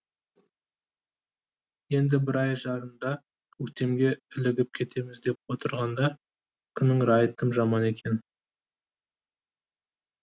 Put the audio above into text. енді бір ай жарымда көктемге ілігіп кетеміз деп отырғанда күннің райы тым жаман екен